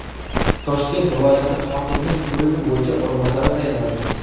Toshkent viloyati hokimining turizm bo‘yicha o‘rinbosari tayinlandi.